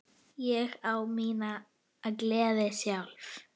Ég á mína gleði sjálf.